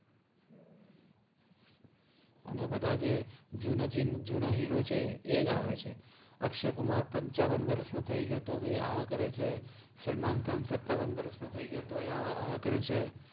અને બધા જ જુના જિ હિરો છે એજ આવે છે અક્શય઼ કુમાર પન્ચાવન વરસ નો થઇ ગ્ય઼ઓ તો ભી આ આ કરે છે સલ્મન ખાન સત્તાવન વરસ નો થૈ તો એ આવ આવ કરે ચે